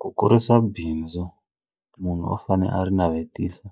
Ku kurisa bindzu munhu u fane a ri navetisa